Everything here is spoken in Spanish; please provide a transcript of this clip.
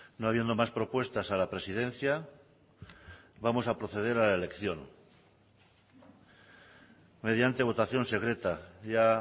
no habiendo más propuestas a la presidencia vamos a proceder a la elección mediante votación secreta ya